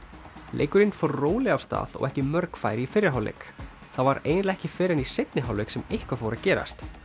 leikurinn fór rólega af stað og ekki mörg færi í fyrri hálfleik það var eiginlega ekki fyrr en í seinni hálfleik sem eitthvað fór að gerast